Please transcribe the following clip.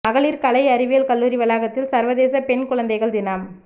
மகளிா் கலை அறிவியல் கல்லூரி வளாகத்தில் சா்வதேச பெண் குழந்தைகள் தினம்